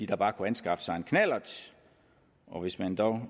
bare kunne anskaffe sig en knallert og hvis man